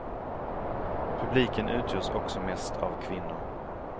Publiken utgörs också mest av kvinnor.